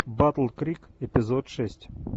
батл крик эпизод шесть